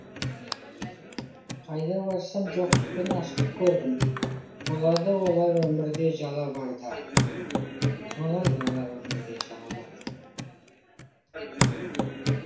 қайда барсам жоқтық пен аштық көрдім болады олар өмірде жала барда болады олар өмірде жала барда